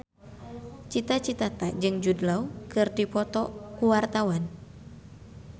Cita Citata jeung Jude Law keur dipoto ku wartawan